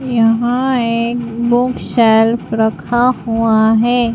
यहां ये book shelf रखा हुआ है।